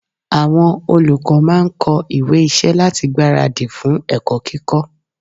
Àwọn olùkọ́ máà ń kọ ìwé iṣẹ́ láti gbára dì fún ẹ̀kọ́ kíkọ́.